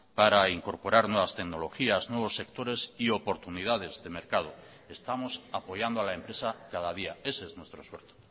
para incorporar nuevas tecnologías nuevos sectores y oportunidades de mercado estamos apoyando a la empresa cada día ese es nuestro esfuerzo